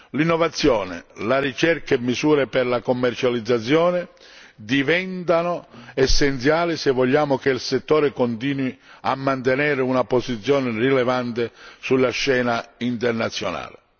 L'innovazione, la ricerca e misure per la commercializzazione diventano essenziali, se vogliamo che il settore continui a mantenere una posizione rilevante sulla scena internazionale.